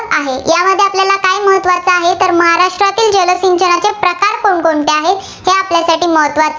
कोण कोणत्या आहेत, हे आपल्यासाठी महत्त्वाचं